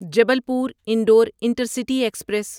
Jabalpur Indore intercity express